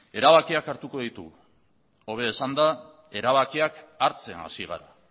erabakiak hartuko ditugu hobe esanda erabakiak hartzen hasi gara